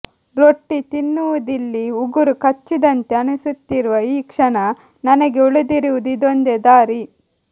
ರೊಟ್ಟಿ ತಿನ್ನುವುದಿಲ್ಲಿ ಉಗುರು ಕಚ್ಚಿದಂತೆ ಅನಿಸುತ್ತಿರುವ ಈ ಕ್ಷಣ ನನಗೆ ಉಳಿದಿರುವುದು ಇದೊಂದೇ ದಾರಿ